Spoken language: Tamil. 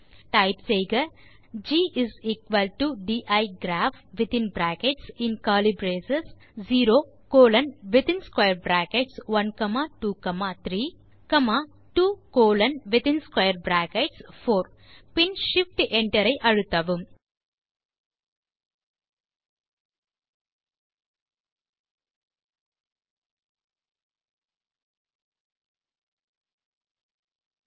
டைப் செய்க GDiGraph0 கோலோன் 1232 கோலோன்4 பின் shift enter ஐ அழுத்துங்கள்